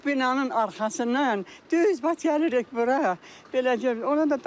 O binanın arxasından düz gəlirik bura beləcə.